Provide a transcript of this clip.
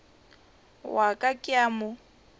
wa ka ke a mo